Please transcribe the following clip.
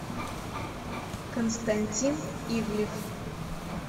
константин ивлев